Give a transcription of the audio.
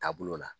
Taabolo la